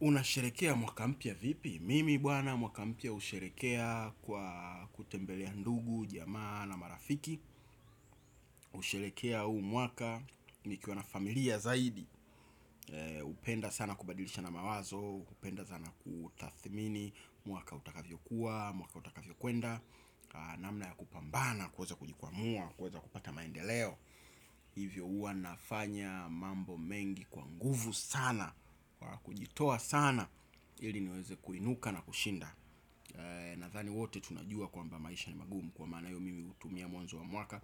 Unasherekea mwaka mpya vipi? Mimi bwana mwaka mpya usherekea kwa kutembelea ndugu, jamaa na marafiki. Usherekea huu mwaka nikiwa na familia zaidi. Upenda sana kubadilishana mawazo, upenda sana kutathmini, mwaka utakavyokuwa, mwaka utakavyo kuenda. Namna ya kupambana, kuweza kujikwamua, kuweza kupata maendeleo. Hivyo uwa nafanya mambo mengi kwa nguvu sana. Kwa kujitoa sana ili niweze kuinuka na kushinda. Nathani wote tunajua kwamba maisha ni magumu. Kwa maana hio mimi utumia mwanzo wa mwaka.